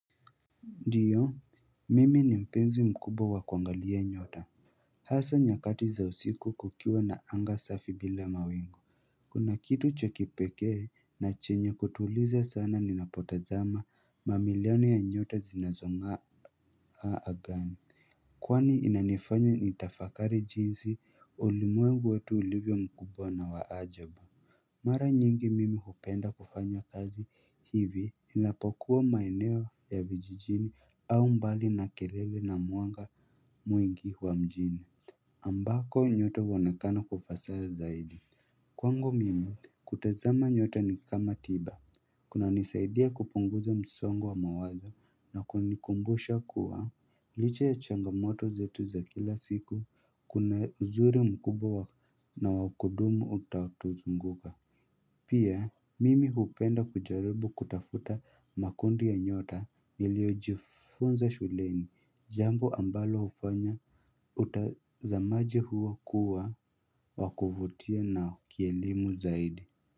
Ndiyo mimi ni mpenzi mkubwa wa kuangalia nyota hasaa nyakati za usiku kukiwa na anga safi bila mawingu kuna kitu cha kipekee na chenye kutuliza sana ninapotazama mamilioni ya nyota zinazong'aa angani kwani inanifanya nitafakari jinsi ulimwengu wetu ulivyo mkubwa na wa ajabu Mara nyingi mimi hupenda kufanya kazi hivi ninapokuwa maeneo ya vijijini au mbali na kelele na mwanga mwingi wa mjini ambako nyota huonekana kwa ufasaha zaidi Kwangu mimi kutazama nyote ni kama tiba kunanisaidia kupunguza msongo wa mawazo na kunikumbusha kuwa Licha ya changamoto zetu za kila siku kuna uzuri mkubwa wa na wa kudumu utaotuzunguka Pia mimi hupenda kujaribu kutafuta makundi ya nyota niliojifunza shuleni jambo ambalo hufanya utazamaji huo kuwa wa kuvutia na kielimu zaidi.